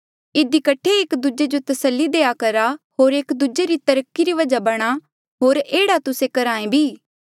इधी कठे एक दूजे जो तस्सली देआ करा होर एक दूजे री तरक्की री वजहा बणां होर एह्ड़ा तुस्से करहा भी ऐें